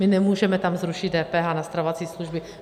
My nemůžeme tam zrušit DPH na stravovací služby.